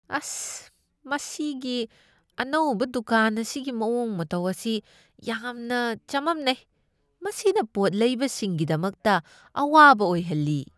ꯑꯁ, ꯃꯁꯤꯒꯤ ꯑꯅꯧꯕ ꯗꯨꯀꯥꯟ ꯑꯁꯤꯒꯤ ꯃꯑꯣꯡ ꯃꯇꯧ ꯑꯁꯤ ꯌꯥꯝꯅ ꯆꯃꯝꯅꯩ ꯫ ꯃꯁꯤꯅ ꯄꯣꯠ ꯂꯩꯕꯁꯤꯡꯒꯤꯗꯃꯛꯇ ꯑꯋꯥꯕ ꯑꯣꯏꯍꯜꯂꯤ ꯫